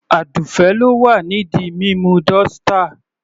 Adufe ló wà ní di mímú dọ́ṣtà..